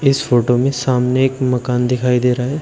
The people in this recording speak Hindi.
इस फोटो में सामने एक मकान दिखाई दे रहा है।